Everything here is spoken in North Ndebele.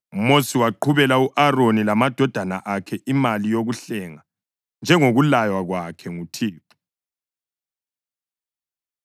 UMosi waqhubela u-Aroni lamadodana akhe imali yokuhlenga, njengokulaywa kwakhe nguThixo.